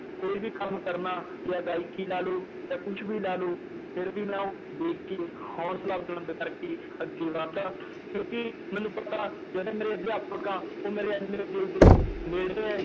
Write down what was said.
ਕੋਈ ਵੀ ਕੰਮ ਕਰਨਾ ਜਾਂ ਗਾਇਕੀ ਲਾ ਲਓ ਜਾਂ ਕੁਛ ਵੀ ਲਾ ਲਓ ਫਿਰ ਵੀ ਮੈਂ ਉਹ ਦੇਖ ਕੇ ਹੌਸਲਾ ਬੁਲੰਦ ਕਰਕੇ ਅੱਗੇ ਵੱਧਦਾ ਕਿਉਂਕਿ ਮੈਨੂੰ ਪਤਾ ਜਿਹੜੇ ਮੇਰੇ ਅਧਿਆਪਕ ਆ ਉਹ ਮੇਰੇ ਇੰਨੇ ਦਿਲ ਦੇ ਨੇੜੈ ਹੈ